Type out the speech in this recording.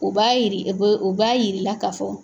U b'a yiri u b'a yir'i la ka fɔ